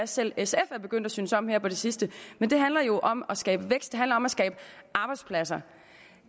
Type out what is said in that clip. selv sf er begyndt at synes om her på det sidste det handler jo om at skabe vækst det handler om at skabe arbejdspladser